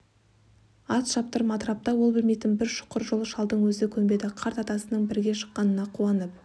ат шаптырым атырапта ол білмейтін бір шұқыр жоқ шалдың өзі көнбеді қарт атасының бірге шыққанына қуанып